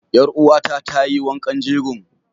Ƴar uwa ta ta yi wankan jegon.